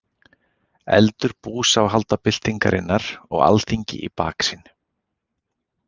Eldur búsáhaldabyltingarinnar og Alþingi í baksýn.